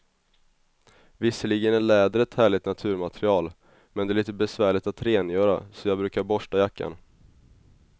Visserligen är läder ett härligt naturmaterial, men det är lite besvärligt att rengöra, så jag brukar borsta jackan.